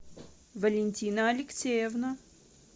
валентина алексеевна